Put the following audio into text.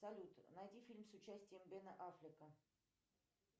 салют найди фильм с участием бена аффлека